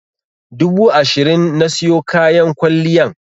Dubu ashirin na siyo kayan kwalliyan.